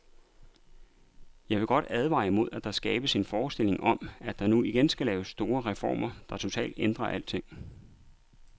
Jeg vil godt advare imod, at der skabes en forestilling om, at der nu igen skal laves store reformer, der totalt ændrer alting.